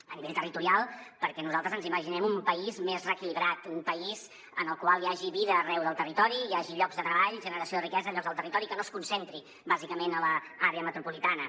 a nivell territorial perquè nosaltres ens imaginem un país més reequilibrat un país en el qual hi hagi vida arreu del territori i hi hagi llocs de treball generació de riquesa llocs al territori que no es concentri bàsicament a l’àrea metropolitana